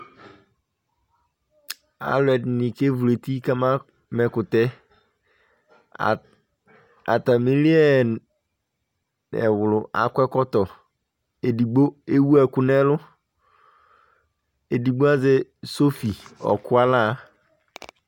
Alu ɛdini kevlu eti kamama ɛkutɛAtimiliɛɛɛ , ɛwlu akɔ ɛkɔtɔ Edigbo ewu ɛku nɛluEdigbo azɛ sɔfi ɔkʋ alaa